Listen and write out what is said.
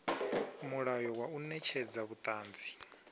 mulayo wa u netshedza vhuṱanzi